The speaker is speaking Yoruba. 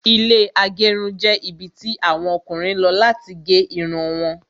Ilẹ́ agerun jẹ́ ibi tí àwọn Ọkùnrin lọ láti gé Irun wọn